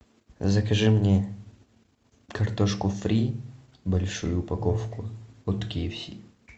закажи мне картошку фри большую упаковку от ки эф си